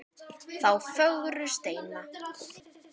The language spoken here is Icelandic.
þá fögru steina.